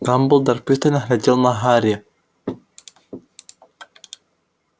дамблдор пристально глядел на гарри